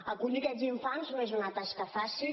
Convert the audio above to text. acollir aquests infants no és una tasca fàcil